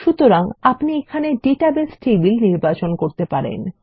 সুতরাং আপনি এখানে ডাটাবেস টেবিল নির্বাচন করতে পারেন